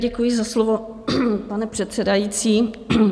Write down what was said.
Děkuji za slovo, pane předsedající.